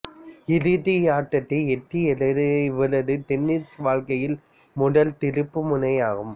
இறுதியாட்டத்தை எட்டியது இவரது டென்னிசு வாழ்க்கையில் முதல் திருப்பு முனையாகும்